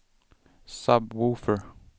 sub-woofer